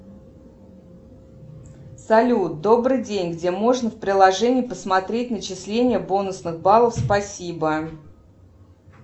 салют добрый день где можно в приложении посмотреть начисление бонусных баллов спасибо